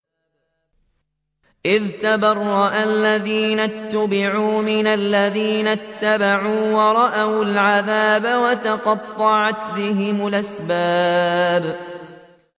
إِذْ تَبَرَّأَ الَّذِينَ اتُّبِعُوا مِنَ الَّذِينَ اتَّبَعُوا وَرَأَوُا الْعَذَابَ وَتَقَطَّعَتْ بِهِمُ الْأَسْبَابُ